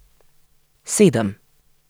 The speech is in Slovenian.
Sedem.